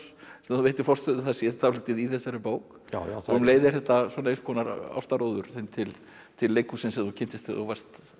sem þú veitir forstöðu það sé dálítið í þessari bók og um leið er þetta einskonar þinn til til leikhússins sem þú kynntist þegar þú varst